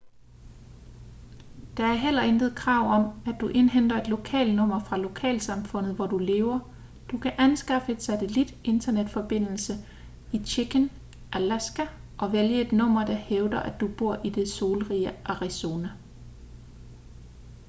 der er heller intet krav om at du indhenter et lokal nummer fra lokalsamfundet hvor du lever du kan anskaffe en satellit internetforbindelse i chicken alaska og vælge et nummer der hævder at du bor i det solrige arizona